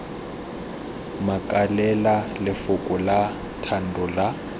makalela lefoko la thando la